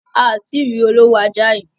A ò ti rí olówó ajá yií.